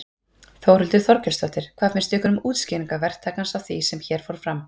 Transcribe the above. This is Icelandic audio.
Þórhildur Þorkelsdóttir: Hvað finnst ykkur um útskýringar verktakans á því sem hér fór fram?